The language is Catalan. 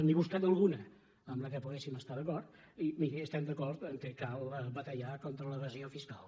n’he buscat alguna en la qual poguéssim estar d’acord i miri estem d’acord que cal batallar con·tra l’evasió fiscal